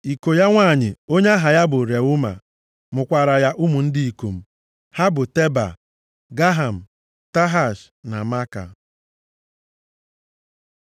Iko ya nwanyị, onye aha ya bụ Reuma, mụkwaara ya ụmụ ndị ikom. Ha bụ Teba, Gaham, Tahash na Maaka.